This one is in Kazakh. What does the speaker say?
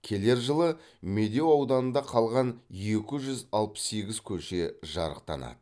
келер жылы медеу ауданында қалған екі жүз алпыс сегіз көше жарықтанады